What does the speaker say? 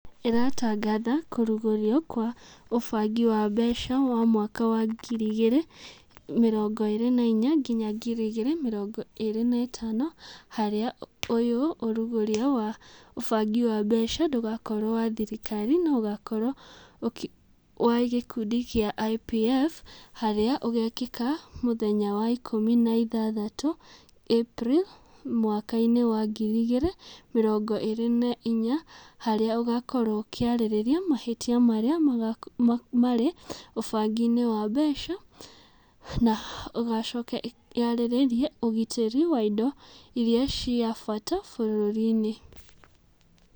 ĩratangatha kũrugũrio kwa ũbangi wa mbeca wa mwaka wa ngiri igĩrĩ mĩrongo ĩrĩ na inya nginya ngiri igĩrĩ mĩrongo ĩrĩ na ĩtano harĩa ũyũ ũrugũrio wa ũbangi wa mbeca ndũgakorwo wa thirikari no ũgakorwo wa gĩkundi kĩa IPF harĩa ũgekĩka mũthenya wa ikũmi na ithathatũ April mwaka-inĩ wa ngiri igĩrĩ mĩrongo na inya, harĩa ũgakorwo ũkĩarĩria mahĩtia marĩa marĩ ũbangi-inĩ wa mbeca na ĩgacoka yarĩrĩrie ũgitĩri wa indo iria cia bata bũrũri-inĩ.